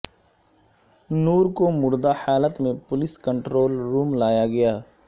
نور کو مردہ حالت میں پولیس کنٹرول روم لایا گیا